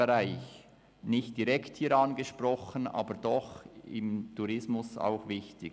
Dieser wird hier nicht direkt angesprochen, ist aber im Tourismus auch wichtig.